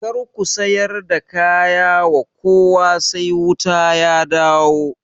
Kar ku sayar da kaya wa kowa sai wuta ya dawo